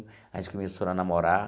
A gente começou a namorar.